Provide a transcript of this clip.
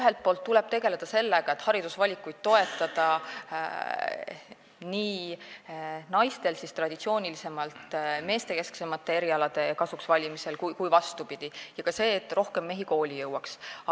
Aga tuleb tegeleda sellega, et toetada nii naiste haridusvalikuid traditsioonilisemalt meestekesksemate erialade kasuks kui ka vastupidi, ja tuleb tegeleda ka sellega, et rohkem mehi kooli jõuaks.